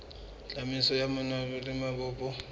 tsamaiso ya mawatle le mabopo